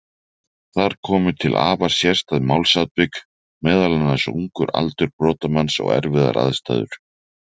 Þar komu til afar sérstæð málsatvik, meðal annars ungur aldur brotamanns og erfiðar aðstæður.